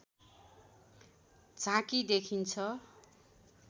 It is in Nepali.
झाँकी देखिन्छ